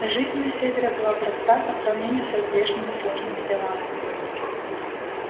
жизнь на севере была проста по сравнению со здешними сложными делами